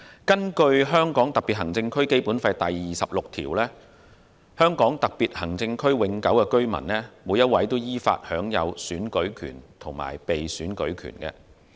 根據香港特別行政區《基本法》第二十六條的規定，香港特別行政區永久性居民依法享有選舉權和被選舉權。